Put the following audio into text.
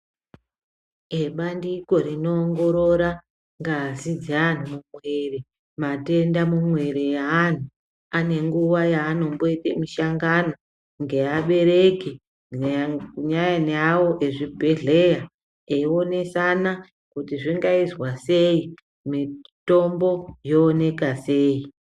Ebandiko rino ongorora ngazi dze anhu mu mwiri matenda mu mwiri ye anhu ane nguva yaano mboite mishangano nge abereki ne awo e zvibhedhlera eyi onesana kuti zvinga izwa sei mitombo yooneka sei.